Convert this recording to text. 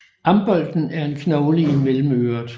Ambolten er en knogle i mellemøret